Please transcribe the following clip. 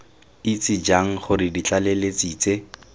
itse jang gore ditlaleletsi tse